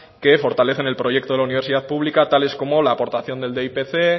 que fortalecen el proyecto de la universidad pública tales como la aportación del dipc